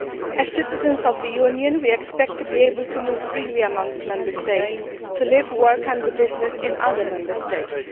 As citizens of the Union, we expect to be able to move freely amongst Member States and to live, work and do business in other Member States.